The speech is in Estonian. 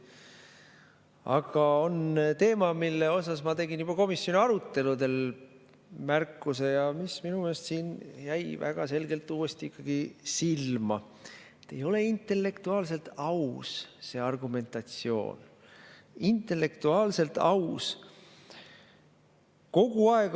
Aga on teema, mille kohta ma tegin juba komisjoni aruteludel märkuse ja mis minu meelest jäi siin väga selgelt uuesti silma – ei ole intellektuaalselt aus see argumentatsioon, intellektuaalselt aus.